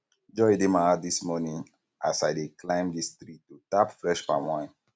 joy dey my heart dis morning as i i dey climb dis tree to tap fresh palm wine